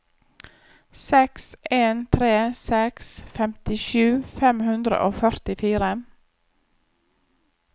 seks en tre seks femtisju fem hundre og førtifire